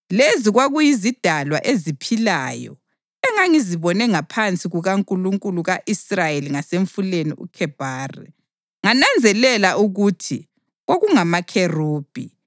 Lezi kwakuyizidalwa eziphilayo engangizibone ngaphansi kukaNkulunkulu ka-Israyeli ngasemfuleni uKhebhari, ngananzelela ukuthi kwakungamakherubhi.